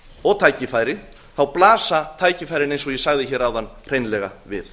og tækifæri blasa tækifærin eins og ég sagði hér áðan hreinlega við